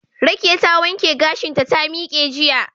Rekiya ta wanke gashinta ta miqe jiya